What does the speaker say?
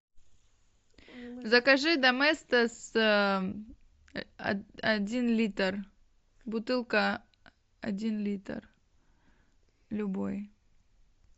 закажи доместос один литр бутылка один литр любой